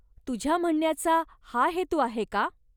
तुझ्या म्हणण्याचा हा हेतू आहे का?